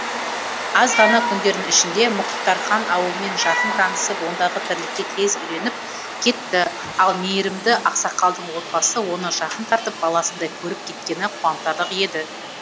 аз ғана күндердің ішінде мұхтархан ауылмен жақын танысып ондағы тірлікке тез үйреніп кетті ал мейірімді ақсақалдың отбасы оны жақын тартып баласындай көріп кеткені қуантарлық еді